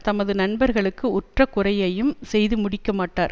தமது நண்பர்க்கு உற்ற குறையையும் செய்து முடிக்க மாட்டார்